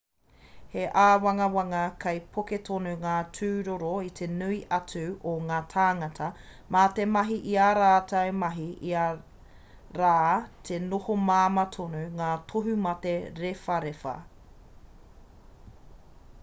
he āwangawanga kei poke tonu ngā tūroro i te nui atu o ngā tāngata mā te mahi i ā rātou mahi o ia rā ki te noho māmā tonu ngā tohumate rewharewha